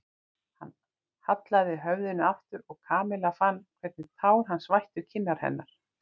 Hann hallaði höfðinu aftur og Kamilla fann hvernig tár hans vættu kinnar hennar.